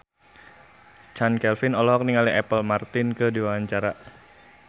Chand Kelvin olohok ningali Apple Martin keur diwawancara